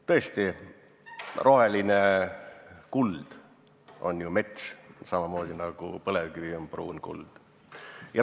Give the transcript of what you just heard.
Tõesti, roheline kuld on ju mets, samamoodi nagu põlevkivi on pruun kuld.